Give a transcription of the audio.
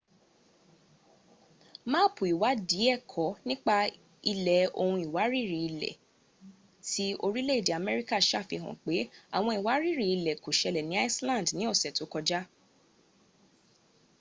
máàpù ìwáádìí ẹ̀kọ nípa ilẹ̀ ohun ìwárìrì-ilẹ̀ ti orìlé-èdè amerika sàfihàn pẹ́ ́àwọǹ ìwárìrì-ilẹ kò sẹlẹ̀ ni iceland ni ọ̀sẹ̀ tó sáájú